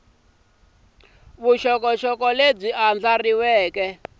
vuxokoxoko lebyi andlariweke bya huhula